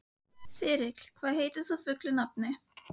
Þyrill, hvað heitir þú fullu nafni?